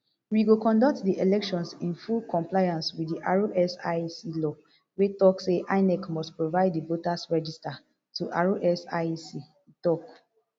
we go conduct di elections in full compliance wit di rsiec law wey tok say inec must provide di voters register to rsiec e tok